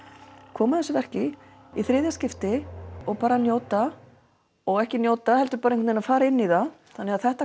koma að þessu verki í þriðja skipti og bara njóta og ekki njóta heldur bara fara inn í það þannig að þetta